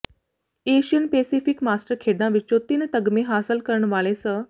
Asian Pacific master ਖੇਡਾਂ ਵਿੱਚੋਂ ਤਿੰਨ ਤਗਮੇ ਹਾਸਲ ਕਰਨ ਵਾਲੇ ਸ